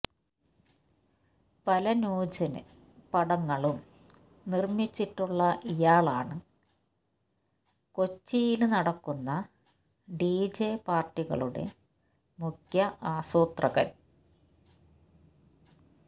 പല ന്യൂജന് പടങ്ങളും നിര്മിച്ചിട്ടുള്ള ഇയാളാണ് കൊച്ചിയില് നടക്കുന്ന ഡിജെ പാര്ട്ടികളുടെ മുഖ്യ ആസൂത്രകന്